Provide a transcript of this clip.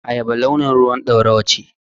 Ayaba launin ruwan ɗorawa ce.